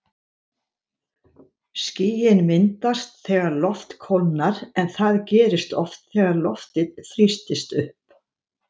Skýin myndast þegar loft kólnar en það gerist oft þegar loftið þrýstist upp.